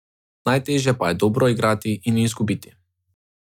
Najtežje pa je dobro igrati in izgubiti.